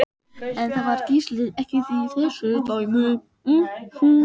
En það var Gísli ekki í þessu dæmi.